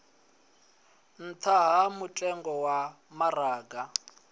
nṱha ha mutengo wa maraga